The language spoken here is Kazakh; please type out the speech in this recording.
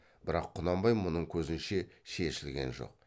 бірақ құнанбай мұның көзінше шешілген жоқ